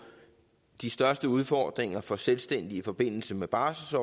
de største udfordringer for selvstændige i forbindelse med barsel